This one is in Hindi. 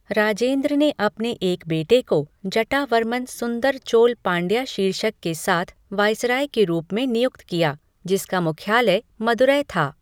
राजेंद्र ने अपने एक बेटे को जटावर्मन सुंदर चोल पांड्या शीर्षक के साथ वाइसराय के रूप में नियुक्त किया, जिसका मुख्यालय मदुरै था।